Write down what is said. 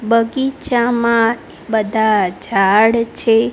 બગીચામાં બધા ઝાડ છે.